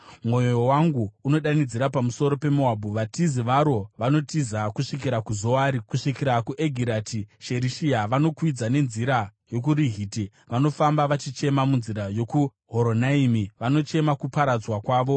Mwoyo wangu unodanidzira pamusoro peMoabhu; vatizi varo vanotiza kusvikira kuZoari, kusvikira kuEgirati-Sherishiya. Vanokwidza nenzira yokuRuhiti, vanofamba vachichema, munzira yokuHoronaimi vanochema kuparadzwa kwavo.